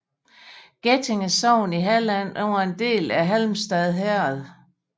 Getinge sogn i Halland var en del af Halmstad herred